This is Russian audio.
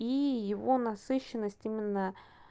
и его насыщенность именно